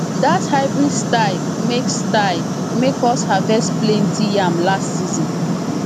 that hybrid style make style make us harvest plenty yam last season